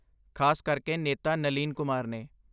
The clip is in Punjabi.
ਖ਼ਾਸ ਕਰਕੇ ਨੇਤਾ ਨਲੀਨ ਕੁਮਾਰ ਨੇ।